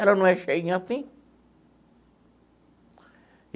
Ela não é cheinha assim.